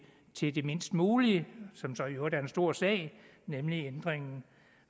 til det mindst mulige som så i øvrigt er en stor sag nemlig ændringen